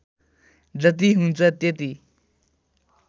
जति हुन्छ त्यति